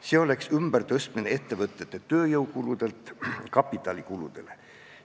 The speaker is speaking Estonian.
See oleks ümbertõstmine ettevõtete tööjõukuludelt kapitalikuludele.